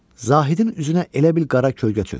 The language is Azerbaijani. Zahidin üzünə elə bil qara kölgə çökdü.